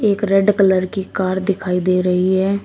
एक red colour की car दिखाई दे रही है।